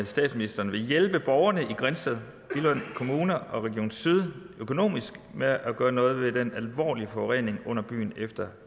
statsministeren vil hjælpe borgerne i grindsted billund kommune og region syddanmark økonomisk med at gøre noget ved den alvorlige forurening under byen efter